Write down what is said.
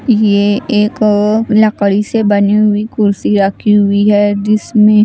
यह एक लकड़ी से बनी हुई कुर्सी रखी हुई है जिसमें--